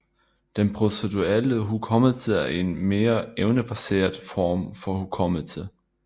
Den proceduelle hukommelse er en mere evnebaseret form for hukommelse